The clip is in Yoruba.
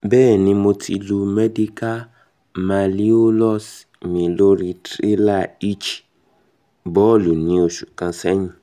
bẹẹni mo ti lu medial malleolus mi lori trailer hitch ball ni oṣu kan sẹyin kan sẹyin